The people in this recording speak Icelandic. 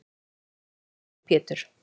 Nú man ég að þú heitir Pétur!